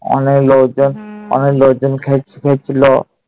অনেক লোকজন, অনেক লোকজন খেয়েছিল।